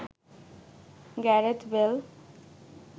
Gareth Bale